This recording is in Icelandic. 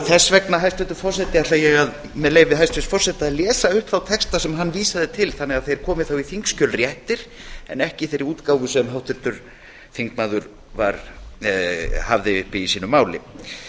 þess vegna ætla ég með leyfi hæstvirts forseta að lesa upp þá texta sem hann vísaði til þannig að þeir komi þá réttir í þingskjöl en ekki í þeirri útgáfu sem háttvirtur þingmaður hafði uppi í sínu máli